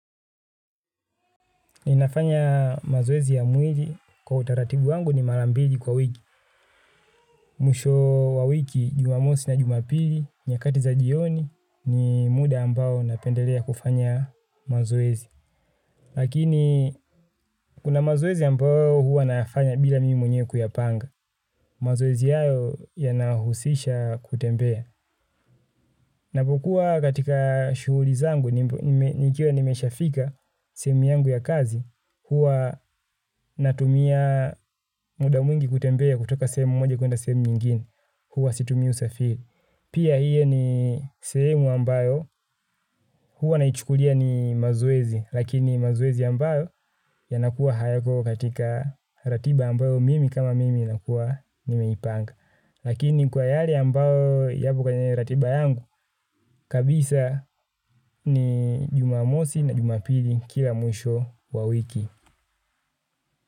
Inafanya mazoezi ya mwili kwa utaratibu wangu ni mara mbili kwa wiki. Mwisho wa wiki, jumamosi na jumapili, nyakati za jioni, ni muda ambao napendelea kufanya mazoezi. Lakini, kuna mazoezi ambao huwa nayafanya bila mimi mwenyewe kuyapanga. Mazoezi yao yanahusisha kutembea. Napokua katika shuhuli zangu nikiwa nimeshafika sehemu yangu ya kazi huwa natumia muda mwingi kutembea kutoka sehemu moja kuenda sehemu nyingine. Huwa situmi usafiri. Pia hio ni sehemu ambayo hua naichukulia ni mazoezi. Lakini mazoezi ambayo yanakuwa hayako katika ratiba ambayo mimi kama mimi nakuwa nimeipanga. Lakini kwa yare ambayo yako kwenye ratiba yangu kabisa ni jumamosi na jumapili kila mwisho wa wiki.